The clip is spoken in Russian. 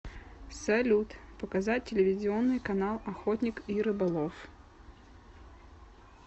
салют показать телевизионный канал охотник и рыболов